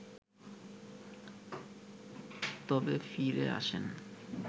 তবে ফিরে আসেন